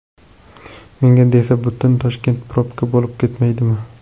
Menga desa butun Toshkent probka bo‘lib ketmaydimi!